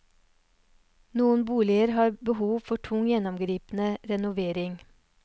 Noen boliger har behov for tung, gjennomgripende renovering.